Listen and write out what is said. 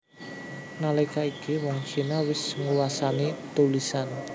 Nalika iku wong Cina wis nguwasani tulisan